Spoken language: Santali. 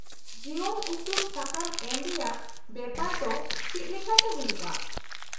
-ᱡᱤᱵᱚᱱ ᱩᱯᱨᱩᱢ ᱥᱟᱠᱟᱢ ᱮᱢ ᱨᱮᱭᱟᱜ ᱵᱮᱯᱟᱨ ᱫᱚ ᱪᱮᱫ ᱞᱮᱠᱟᱛᱮ ᱦᱩᱭᱩᱜᱼᱟ ?